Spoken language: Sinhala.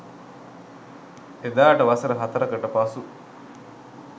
එදාට වසර හතරකට පසු